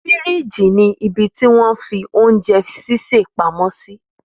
Fírííjì ni ibití wọn fi oúnjẹ ṣíṣè pamọ́ sí